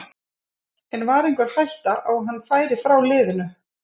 En var einhver hætta á að hann færi frá liðinu?